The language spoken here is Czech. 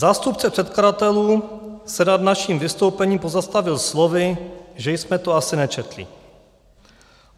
Zástupce předkladatelů se nad naším vystoupením pozastavil slovy, že jsme to asi nečetli.